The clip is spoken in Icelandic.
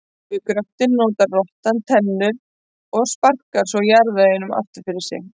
Við gröftinn notar rottan tennurnar en sparkar svo jarðveginum aftur fyrir sig.